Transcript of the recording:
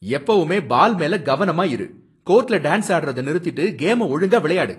எப்பவுமே பால் மேல கவனமா இரு! கோர்ட்ல டான்ஸ் ஆடுறத நிறுத்திட்டு கேம ஒழுங்கா விளையாடு.